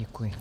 Děkuji.